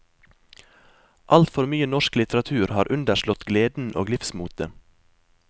Altfor mye norsk litteratur har underslått gleden og livsmotet.